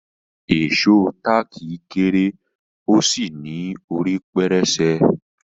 Ìṣó táàkì kéré ó sì ní orí pẹrẹsẹ.